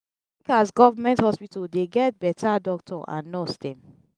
as government hospital dey get beta doctor and nurse dem.